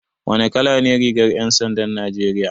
Wane kala ne rigar 'yan sandan Najeriya?